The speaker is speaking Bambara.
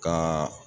Ka